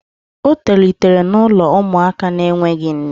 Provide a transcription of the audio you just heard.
O tolitere n'ụlọ ụmụaka na-enweghị nne